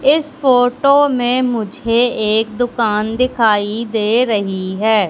इस फोटो में मुझे एक दुकान दिखाई दे रही है।